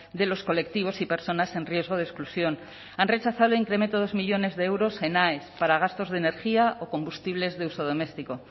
de los colectivos y personas en riesgo de exclusión han rechazado el incremento dos millónes de euros en aes para gastos de energía o combustibles de uso doméstico